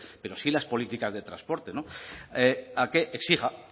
pero sí las políticas de transporte a que exija